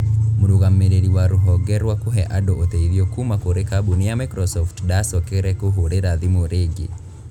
Mũrũgamĩrĩri wa rũhonge rwa kũhe andũ ũteithio kuuma kũrĩ kambũni ya Microsoft ndaacokere kũhũrĩra thimũ rĩngĩ.